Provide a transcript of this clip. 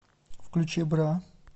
включи бра